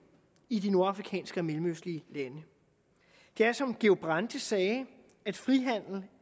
i de nordafrikanske og mellemøstlige lande det er som georg brandes sagde